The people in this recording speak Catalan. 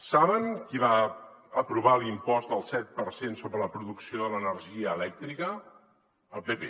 saben qui va aprovar l’impost del set per cent sobre la producció de l’energia elèctrica el pp